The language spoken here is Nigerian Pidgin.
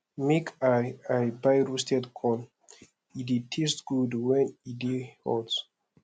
make i i buy roasted corn e dey taste good wen e dey hot